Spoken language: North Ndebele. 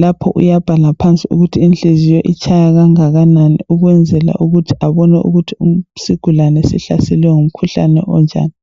lapho uyabhala phansi ukuthi inhliziyo itshaya kangakanani ukwenzela ukuthi abone ukuthi isigulane sihlaselwe ngumkhuhlane onjani